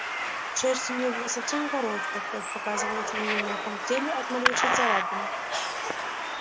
шерсть у неё была совсем короткая кровь показывалась на её мягком теле от малейшей царапины